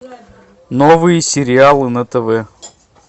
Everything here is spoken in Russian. новые сериалы на тв